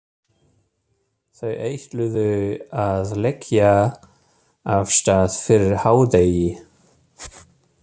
Þau ætluðu að leggja af stað fyrir hádegi.